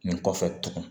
Nin kɔfɛ tugun